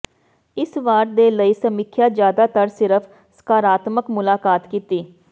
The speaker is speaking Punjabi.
ਇਸ ਵਾਰ ਦੇ ਲਈ ਸਮੀਖਿਆ ਜਿਆਦਾਤਰ ਸਿਰਫ ਸਕਾਰਾਤਮਕ ਮੁਲਾਕਾਤ ਕੀਤੀ